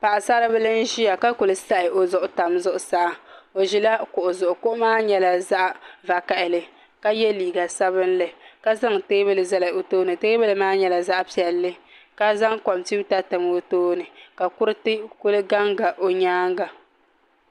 Paɣasaribili n ʒiya ka ku sahi o zuɣu tam zuɣusaa o ʒila kuɣu zuɣu kuɣu maa mii nyɛla zaɣ vakaɣali ka yɛ liiga sabinli ka zaŋ teebuli zali o tooni teebuli maa nyɛla zaɣ piɛlli ka zaŋ kompiuta tam o tooni ka kuriti kuli ganga nyaanga